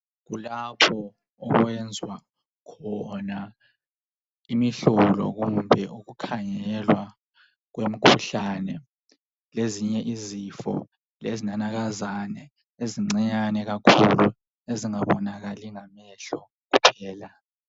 Kulapho okwenzwa khona imihlobo kumbe okukhangelwa kwemikhuhlane lezinye izifo lezinanakazana ezincinyane kakhulu ezingabonakali ngamehlo kuphela.